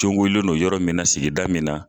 Cogolen don yɔrɔ min na, sigida min na.